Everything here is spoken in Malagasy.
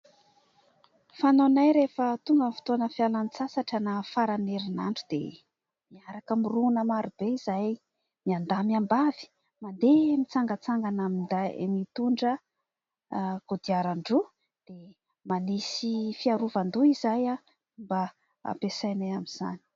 Fanaonay rehefa tonga ny fotoana fialan-tsasatra na faran'ny herinandro dia miaraka mirona maro be izahay miandahy miambavy mandeha mitsangatsangana mitondra kodiaran-droa. Manisy fiarovan-doha izahay mba ampiasainay amin'izany.